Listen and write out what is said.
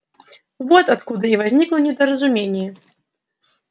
вот откуда и возникло недоразумение